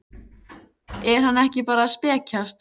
Er hann ekki bara að spekjast?